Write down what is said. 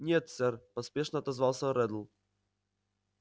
нет сэр поспешно отозвался реддл